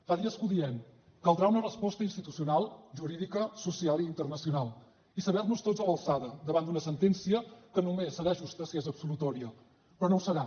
fa dies que ho diem caldrà una resposta institucional jurídica social i internacional i saber nos tots a l’alçada davant d’una sentència que només serà justa si és absolutòria però no ho serà